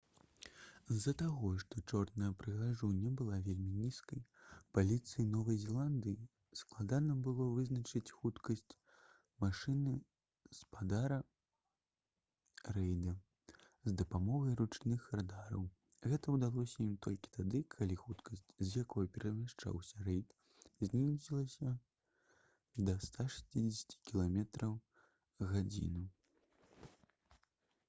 з-за таго што «чорная прыгажуня» была вельмі нізкай паліцыі новай зеландыі складана было вызначыць хуткасць машыны спадара рэйда з дапамогай ручных радараў. гэта ўдалося ім толькі тады калі хуткасць з якой перамяшчаўся рэйд знізілася да 160 км/г